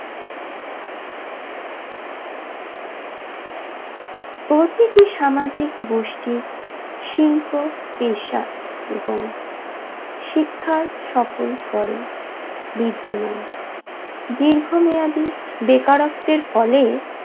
প্রতিটি সামাজিক গোষ্ঠী শিল্প পেশা এবং শিক্ষার সকল স্তরে বৃদ্ধমান দীর্ঘমেয়াদী বেকারত্বের ফলে